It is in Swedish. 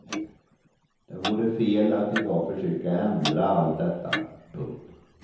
Det vore fel att i dag försöka ändra allt detta. punkt